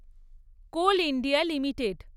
coal India limited